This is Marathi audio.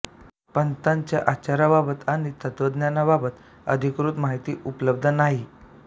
पंथाच्या आचाराबाबत आणि तत्त्वज्ञानाबाबत अधिकृत माहिती उपलब्ध नाही